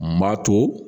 N b'a to